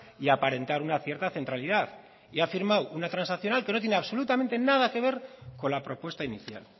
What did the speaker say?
y aparentar una cierta centralidad y ha firmado una transaccional que no tiene absolutamente nada que ver con la propuesta inicial